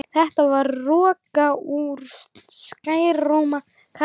Þetta var roka úr skrækróma karlmanni.